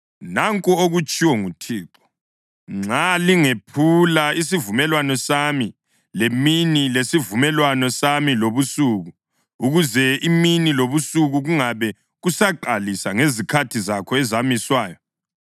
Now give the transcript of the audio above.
“Nanku okutshiwo nguThixo, ‘Nxa lingephula isivumelwano sami lemini lesivumelwano sami lobusuku, ukuze imini lobusuku kungabe kusaqalisa ngezikhathi zakho ezamiswayo,